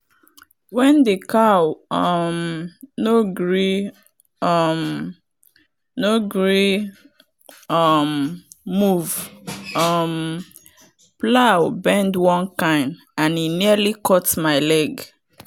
when the cow um no gree um no gree um move um plow bend one kind and e nearly cut my leg.